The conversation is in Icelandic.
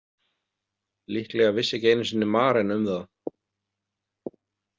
Líklega vissi ekki einu sinni Maren um það.